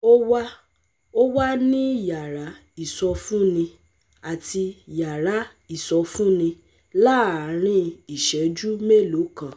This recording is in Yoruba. ó wà ó wà ní yàrá ìsọfúnni àti yàrá ìsọfúnni láàárín ìṣẹ́jú mélòó kan